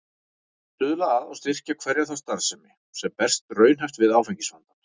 Að stuðla að og styrkja hverja þá starfsemi, sem berst raunhæft við áfengisvandann.